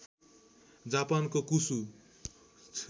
जापानको कुसु